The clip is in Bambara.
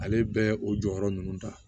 Ale bɛ o jɔyɔrɔ ninnu ta